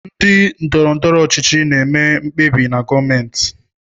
Ndị ndọrọ ndọrọ ọchịchị na-eme mkpebi na gọọmentị.